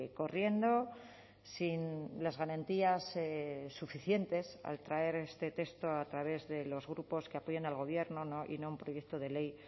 corriendo sin las garantías suficientes al traer este texto a través de los grupos que apoyan al gobierno y no un proyecto de ley